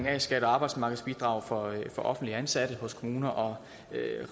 af a skat og arbejdsmarkedsbidrag for offentligt ansatte i kommuner og